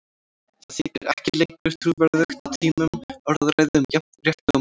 Það þykir ekki lengur trúverðugt á tímum orðræðu um jafnrétti og mannréttindi.